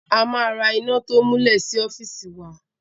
A ma ra iná to múlẹ̀ sí ọ́fìsì wa.